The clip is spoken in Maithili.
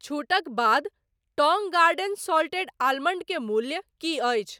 छूटक बाद टौंग गार्डन साल्टेड आलमंड के मूल्य की अछि ?